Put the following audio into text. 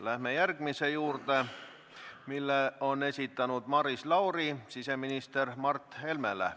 Läheme järgmise küsimuse juurde, mille esitab Maris Lauri siseminister Mart Helmele.